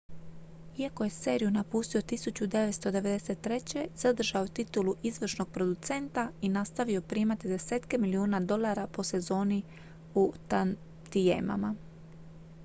iako je seriju napustio 1993 zadržao je titulu izvršnog producenta i nastavio primati desetke milijuna dolara po sezoni u tantijemama